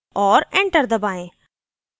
और enter दबाएँ